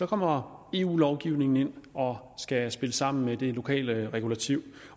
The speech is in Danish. kommer eu lovgivningen ind og skal spille samme med det lokale regulativ